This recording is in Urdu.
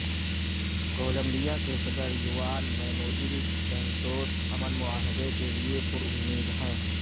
کولمبیا کے صدر یوان مینوئل سینٹوس امن معاہدے کے لیے پرامید ہیں